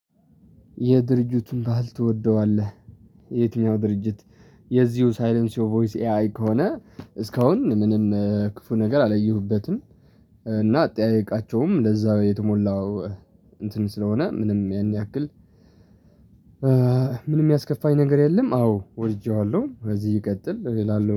የድርጅቱን ባህል ትወደዋለህ? የትኛው ድርጅት የዚሁ ሳይለንስዮ ቮይስ ኤ አይ ከሆነ እስካሁን ምንም ክፉ ነገር አላየሁበትም። እና አጠያየቃቸውም እንደዛ የተሞላው እንትን ስለሆነ ምንም ያን ያክል። ምንም የሚያስከፋኝ ነገር የለም። አዎ ወድጄዋለሁ በዚህ ይቀጥል አላለሁ